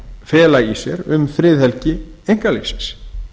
fela í sér um friðhelgi einkalífsins